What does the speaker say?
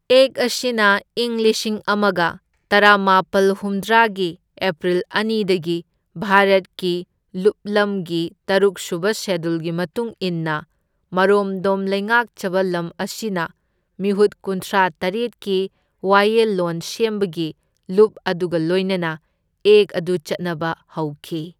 ꯑꯦꯛ ꯑꯁꯤ ꯢꯪ ꯂꯤꯁꯤꯡ ꯑꯃꯒ ꯇꯔꯥꯃꯥꯄꯜ ꯍꯨꯝꯗ꯭ꯔꯥꯒꯤ ꯑꯦꯄ꯭ꯔꯤꯜ ꯑꯅꯤꯗꯒꯤ ꯚꯥꯔꯠꯀꯤ ꯂꯨꯞꯂꯝꯒꯤ ꯇꯔꯨꯛꯁꯨꯕ ꯁꯦꯗꯨꯜꯒꯤ ꯃꯇꯨꯡ ꯏꯟꯅ ꯃꯥꯔꯣꯝꯗꯣꯝ ꯂꯩꯉꯥꯛꯆꯕ ꯂꯝ ꯑꯁꯤꯅ ꯃꯤꯍꯨꯠ ꯀꯨꯟꯊ꯭ꯔꯥ ꯇꯔꯦꯠꯀꯤ ꯋꯥꯌꯦꯜꯂꯣꯟ ꯁꯦꯝꯕꯒꯤ ꯂꯨꯞ ꯑꯗꯨꯒ ꯂꯣꯏꯅꯅ ꯑꯦꯛ ꯑꯗꯨ ꯆꯠꯅꯕ ꯍꯧꯈꯤ꯫